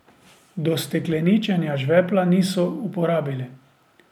Do stekleničenja žvepla niso uporabili.